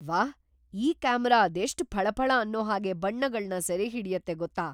ವಾಹ್! ಈ ಕ್ಯಾಮರಾ ಅದೆಷ್ಟ್‌ ಫಳಫಳ ಅನ್ನೋ ಹಾಗೆ ಬಣ್ಣಗಳ್ನ ಸೆರೆಹಿಡ್ಯತ್ತೆ ಗೊತ್ತಾ?!